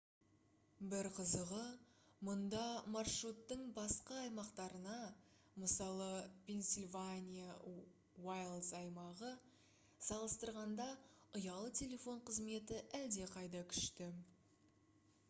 бір қызығы мұнда маршруттың басқа аймақтарына мысалы пенсильвания уайлдс аймағы салыстырғанда ұялы телефон қызметі әлдеқайда күшті